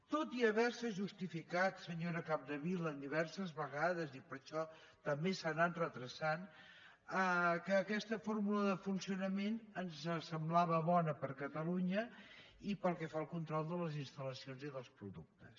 tot i haver se justificat senyora capdevila diverses vegades i per això també s’ha anant endarrerint que aquesta fórmula de funcionament ens semblava bona per a catalunya pel que fa al control de les instal·lacions i dels productes